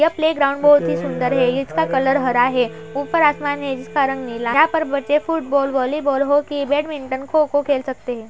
यह प्लेग्राउंड बहुत ही सुंदर है। इसका कलर हरा है ऊपर आसमान है जिसका रंग नीला है। यहाँं पर बच्चे football volleyball hockey badminton kho kho खेल सकते हैं।